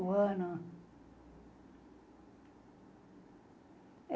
O ano?